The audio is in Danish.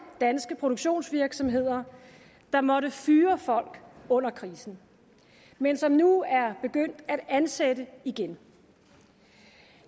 danske produktionsvirksomheder der måtte fyre folk under krisen men som nu er begyndt at ansætte igen